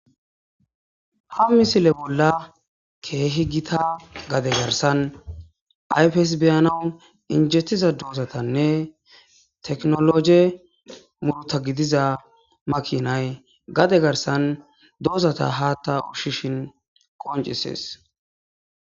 ha misile bolla keehi gita gade garsan ayfes beyanawu injettiza doozatanne teknologe murtagidiza makinay gade garsan doozata haatta ushshishin qoncisees